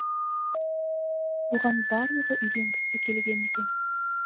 оған барлығы үйленгісі келген екен